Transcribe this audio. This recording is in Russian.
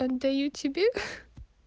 отдаю тебе